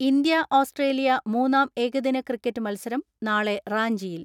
India Australia മൂന്നാം ഏകദിന cricket മത്സരം നാളെ റാഞ്ചിയിൽ.